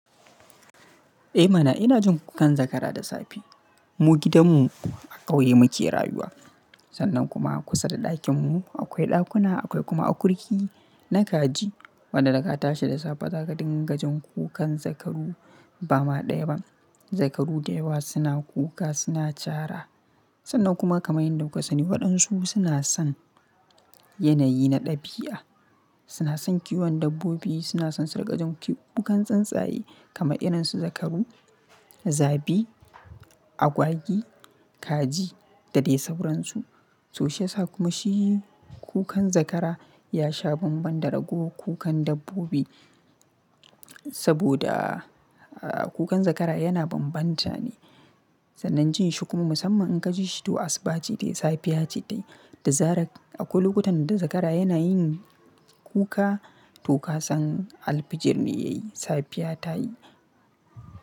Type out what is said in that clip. Eh mana ina jin kukan zakara da safe. Mu gidanmu a ƙauye muke rayuwa. Sannan kuma kusa da ɗakinmu akwai ɗakuna, akwai kuma akurki na kaji. Waɗanda ka tashi da safe za ka dinga jin kukan zakaru ba ma ɗaya ba. Zakaru da yawa suna kuka, suna cara. Sannan kuma kamar yadda kuka sani waɗansu suna son yanayi na ɗabi'a. Suna son kiwon dabbobi, suna son dinka jin kiɓ kukan tsuntsaye kama irin su zakaru, zabi, agwagi, kaji da dai sauransu. To shi yasa kuma shi kukan zakara ya sha banban da rago kukan dabbobi. Saboda, aa kukan zakara yana banbanta ne. Sanan jin shi kuma musamman in ka ji shi to asuba ce tayi, safiya ce tayi da zarar akwai lokotan da zakara yana yin kuka to ka san alfijir ne ya yi. Safiya ta yi.